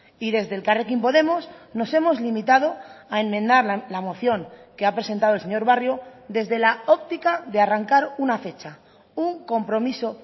y desde elkarrekin podemos nos hemos limitado a enmendar la moción que ha presentado el señor barrio desde la óptica de arrancar una fecha un compromiso